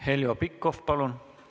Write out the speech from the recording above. Heljo Pikhof, palun!